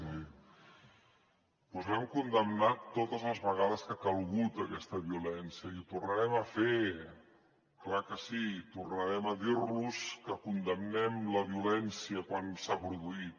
doncs l’hem condemnat totes les vegades que ha calgut aquesta violència i ho tornarem a fer clar que sí tornarem a dir los que condemnem la violència quan s’ha produït